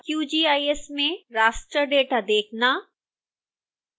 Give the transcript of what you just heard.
qgis में raster data देखना